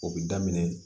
O bɛ daminɛ